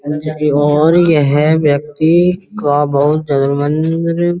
और यह व्यक्ति थोड़ा बहुत --